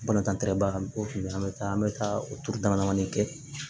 Balontan tɛ bago la an bɛ taa an bɛ taa o turu dama damanin kɛ